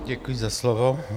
Děkuji za slovo.